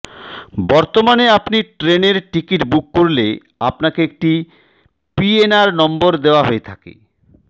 বর্তমানে আপনি ট্রেনের টিকিট বুক করলে আপনাকে একটি পিএনআর নম্বর দেওয়া হয়ে থাকে